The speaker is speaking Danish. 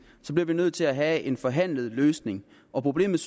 bliver vi nødt til at have en forhandlet løsning problemet